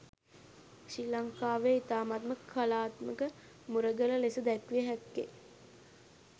ශ්‍රී ලංකාවේ ඉතාමත්ම කලාත්මක මුරගල ලෙස දැක්විය හැක්කේ